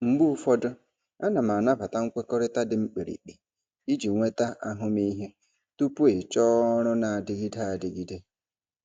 Mgbe ụfọdụ, ana m anabata nkwekọrịta dị mkpirikpi iji nweta ahụmịhe tupu ịchọọ ọrụ na-adịgide adịgide.